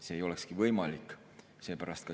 See ei olekski võimalik.